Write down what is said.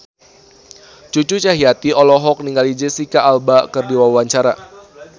Cucu Cahyati olohok ningali Jesicca Alba keur diwawancara